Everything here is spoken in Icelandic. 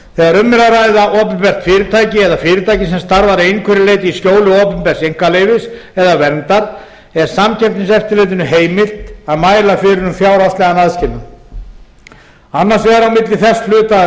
þegar um er að ræða opinbert fyrirtæki eða fyrirtæki sem starfar að einhverju leyti í skjóli opinbers einkaleyfis eða verndar er samkeppniseftirlitinu heimilt að mæla fyrir um fjárhagslegan aðskilnað annars vegar á milli þess hluta